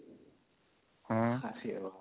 ଆରେ ବାପରେ